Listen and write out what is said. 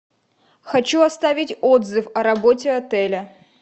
хочу оставить отзыв о работе отеля